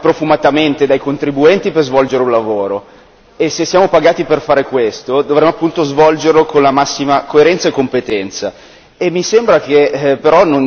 Volevo ricordare che noi siamo qua pagati profumatamente dai contribuenti per svolgere un lavoro e se siamo pagati per fare questo dovremmo appunto svolgerlo con la massima coerenza e competenza.